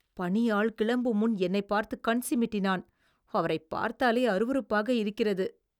பணியாள் கிளம்பும் முன் என்னைப் பார்த்து கண் சிமிட்டினான். அவரைப் பார்த்தாலே அருவருப்பாக இருக்கிறது.